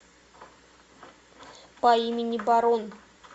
по имени барон